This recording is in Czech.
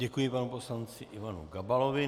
Děkuji panu poslanci Ivanu Gabalovi.